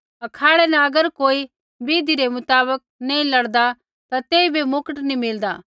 अखाड़ै न अगर कोई विधि रै मुताबक नी लड़दा ता तेइबै मुकट नी मिलदा